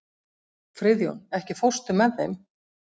Friðjón, ekki fórstu með þeim?